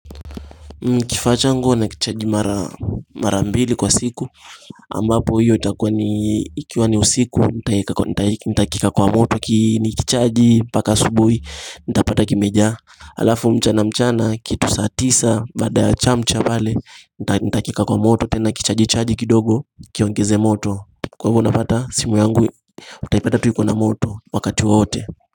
Kifaa changu huwa na kichaji mara mbili kwa siku ambapo hiyo itakuwa ni, ikiwa ni usiku, nitakieka kwa moto nikichaji mpaka asubuhi, nitapata kimejaa, alafu mchana mchana kitu saa tisa baada ya chamcha pale, nitakieka kwa moto tena kichaji kichaji kidogo kiongeze moto. Kwa hivyo napata simu yangu utaipata tu ikiwa na moto wakati wote.